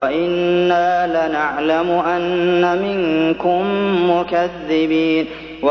وَإِنَّا لَنَعْلَمُ أَنَّ مِنكُم مُّكَذِّبِينَ